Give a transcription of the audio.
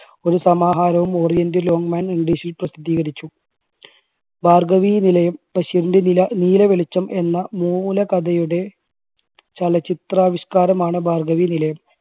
ഒരു സമാഹാരവും oriental Longman english ൽ പ്രസിദ്ധീകരിച്ചു. ഭാർഗവീനിലയം, ബഷീറിൻറെ നില നീല വെളിച്ചം എന്ന മൂലകഥയുടെ ചലച്ചിത്രാവിഷ്കാരമാണ് ഭാർഗവീനിലയം.